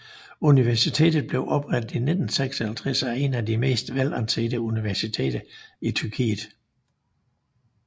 Universitet blev oprettet i 1956 og er en af det mest velansete universiteter i Tyrkiet